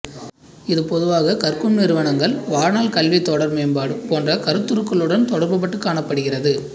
இது பொதுவாகக் கற்கும் நிறுவனங்கள் வாழ்நாள் கல்வி தொடர் மேம்பாடு போன்ற கருத்துருக்களுடன் தொடர்புபட்டுக் காணப்படுகிறது